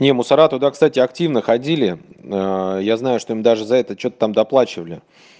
не мусора туда кстати активно ходили я знаю что им даже за это что-то там доплачивали